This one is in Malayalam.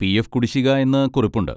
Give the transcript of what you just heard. പി.എഫ്. കുടിശ്ശിക എന്ന് കുറിപ്പുണ്ട്.